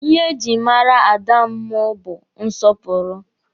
Ihe e jiri mara ada mụ bụ nsọpụrụ.